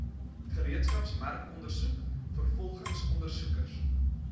gereedskapsmerkondersoek vervolgingsondersoek regs